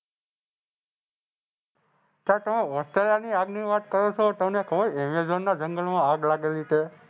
શાયદ તમે ઑસ્ટ્રેલિયાંની આગની વાત કરો છો. તમને કો એમેઝોનના જંગલમાં આગ લાગેલી છે.